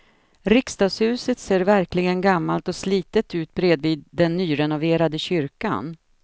Riksdagshuset ser verkligen gammalt och slitet ut bredvid den nyrenoverade kyrkan.